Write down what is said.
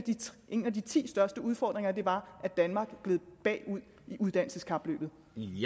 en af de ti største udfordringer var at danmark gled bagud i uddannelseskapløbet